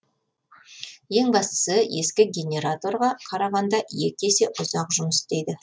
ең бастысы ескі генераторға қарағанда екі есе ұзақ жұмыс істейді